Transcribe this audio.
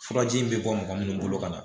Furaji in bɛ bɔ mɔgɔ minnu bolo ka na